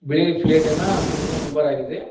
ಬಿಳಿ ಪ್ಲೇಟಿನ ಕೂಡಿದ ನಂಬರ್ ಆಗಿದೆ.